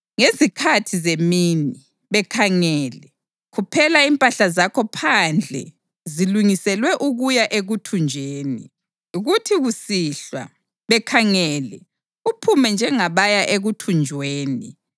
Ngezikhathi zemini, bekhangele, khuphela impahla zakho phandle zilungiselwe ukuya ekuthunjweni. Kuthi kusihlwa, bekhangele, uphume njengabaya ekuthunjweni.